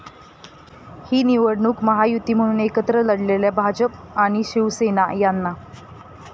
ही निवडणूक महायुती म्हणून एकत्र लढलेल्या भाजप आणि शिवसेना यांना.